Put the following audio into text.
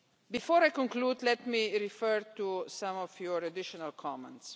Before I conclude, let me refer to some of your additional comments.